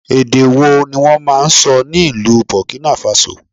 Èdè wo ni wọ́n máa ń sọ ní ìlú Burkina Faso?